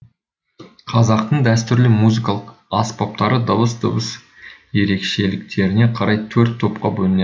қазақтың дәстүрлі музыкалық аспаптары дыбыс дыбыс ерекшеліктеріне қарай төрт топқа бөлінеді